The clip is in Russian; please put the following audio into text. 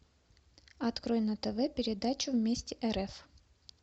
открой на тв передачу вместе рф